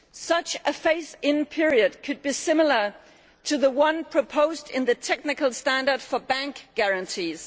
Such a phased in period could be similar to the one proposed in the technical standard for bank guarantees.